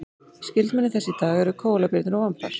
skyldmenni þess í dag eru kóalabirnir og vambar